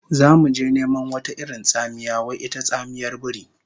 Zamu je neman wata irin tsamiya wai ita tsamiyar biri